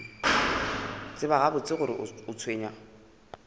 tseba gabotse gore o tshwenywa